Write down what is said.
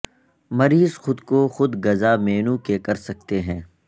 مریض خود کو خود غذا مینو کے کر سکتے ہیں